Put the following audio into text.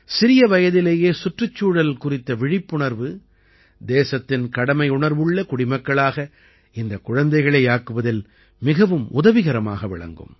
சிறிய வயதிலேயே சுற்றுச்சூழல் குறித்த விழிப்புணர்வு தேசத்தின் கடமையுணர்வுள்ள குடிமக்களாக இந்தக் குழந்தைகளை ஆக்குவதில் மிகவும் உதவிகரமாக விளங்கும்